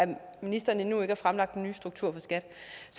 nu ministeren endnu ikke har fremlagt den nye struktur for skat